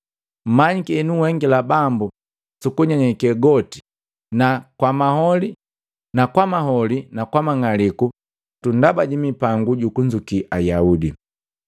Mmanyiki henuhengila Bambu sukunyenyekee goti na kwamaholi na mang'aliku gagambata ndaba jimipangu jukunzuki Ayaudi.